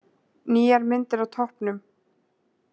Nýjar myndir á toppnum